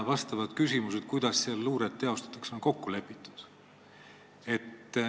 Ka küsimused, kuidas seal luuret teostatakse, on kokku lepitud.